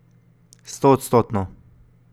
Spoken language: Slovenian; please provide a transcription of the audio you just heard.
Stoodstotno.